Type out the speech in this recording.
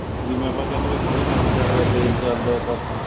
ਜਿਵੇਂ ਆਪਾਂ ਕਹਿਨੇ ਆ ਹੋਲੀ NET ਚਲਦਾ ਤੇਜ ਚਲਦਾ ਤਾਂ ਅਹ